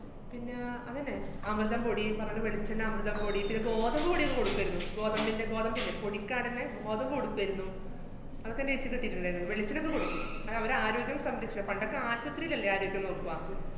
പിന്ന അതന്നെ അമൃതം പൊടി, പറേണ വെളിച്ചെണ്ണ അമൃതം പൊടി, പിന്നെ ഗോതമ്പ്‌ പൊടിയൊക്കെ കൊടുക്കേരുന്നു. ഗോതമ്പിന്‍റെ, ഗോതമ്പില്ലേ പൊടിക്കാടന്ന ഗോതമ്പ്‌ കൊടുക്കേരുന്നു. അതൊക്കെ നേക്ക് കിട്ടീട്ട്ണ്ടാരുന്നു. വെളിച്ചെണ്ണൊക്കെ കൊടുക്കും. അതവര് ആരോഗ്യം സംരക്ഷ~ പണ്ടൊക്കെ ആശൂത്രീലല്ലേ ആരോഗ്യം നോക്ക്വ